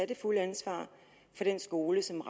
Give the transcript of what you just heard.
det fulde ansvar for den skole som